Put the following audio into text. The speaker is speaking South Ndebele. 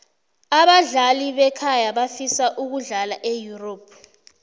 abadlali bekhaya bafisa ukudlala eyurop